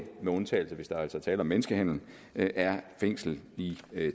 med undtagelse af hvis der er tale om menneskehandel er fængsel i